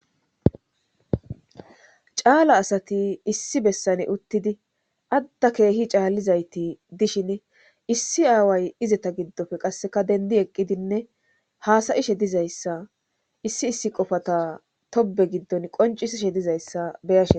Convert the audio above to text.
caala asati issi bessane uttidi atta keehi caallizayti dishin issi aaway izeta giddofe qasseka dendi eqqidinne hasayishe dizayssa issi issi qofata tobe giddon qoncisishe dizayssa be'ashe